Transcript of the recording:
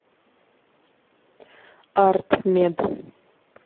артмед